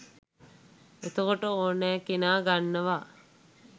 එතකොට ඕනැ කෙනා ගන්නවා